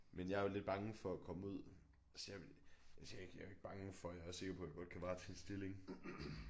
Men jeg er jo lidt bange for at komme ud altså jeg altså jeg ikke jeg er jo ikke bange jeg for jeg er også sikker på jeg godt kan varetage en stilling